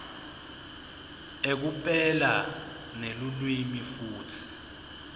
ekupela nelulwimi futsi